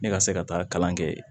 Ne ka se ka taa kalan kɛ